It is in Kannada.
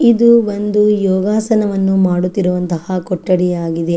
ಇದು ಒಂದು ಯೋಗಾಸನವನ್ನು ಮಾಡುತಿರುವಂತಹ ಕೊಠಡಿ ಆಗಿದೆ.